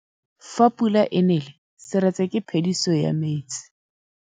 Fa pula e nelê serêtsê ke phêdisô ya metsi.